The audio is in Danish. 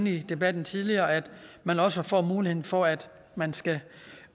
i debatten tidligere at man også får muligheden for at man skal